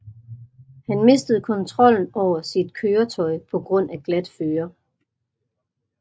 Han mistede kontrollen over sit køretøj på grund af glat føre